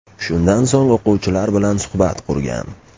Shundan so‘ng o‘quvchilar bilan suhbat qurgan.